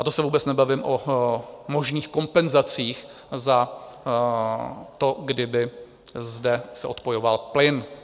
A to se vůbec nebavím o možných kompenzacích za to, kdyby se zde odpojoval plyn.